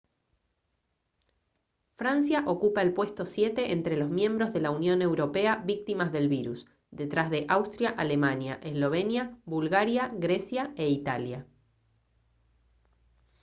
francia ocupa el puesto siete entre los miembros de la unión europea víctimas del virus detrás de austria alemania eslovenia bulgaria grecia e italia